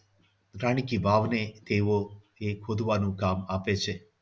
રાણી કી વાવને એવો એક ખોદવાનું કામ આપે છે.